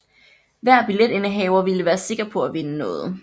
Hver billetindehaver ville være sikker på at vinde noget